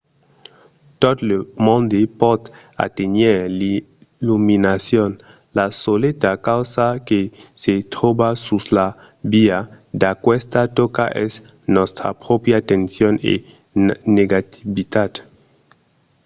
tot lo monde pòt aténher l'illuminacion. la soleta causa que se tròba sus la via d’aquesta tòca es nòstra pròpria tension e negativitat